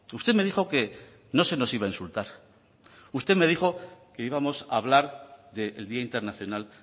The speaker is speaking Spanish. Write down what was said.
usted me dijo que no se nos iba a insultar usted me dijo que íbamos a hablar del día internacional